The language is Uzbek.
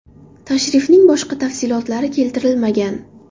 Tashrifning boshqa tafsilotlari keltirilmagan.